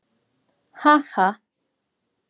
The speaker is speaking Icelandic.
Ha ha!